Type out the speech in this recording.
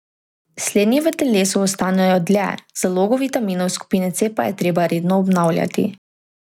Slednji v telesu ostanejo dlje, zalogo vitaminov skupine C pa je treba redno obnavljati.